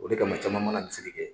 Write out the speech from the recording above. O de kama caman ma na misiri kɛ